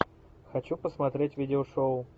хочу посмотреть видео шоу